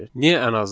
Niyə ən azı?